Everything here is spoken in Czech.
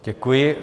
Děkuji.